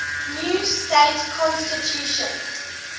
new state constitution